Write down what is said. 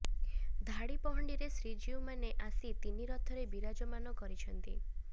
ଧାଡ଼ି ପହଣ୍ଡିରେ ଶ୍ରୀଜୀଉମାନେ ଆସି ତିନି ରଥରେ ବିରାଜମାନ କରିଛନ୍ତି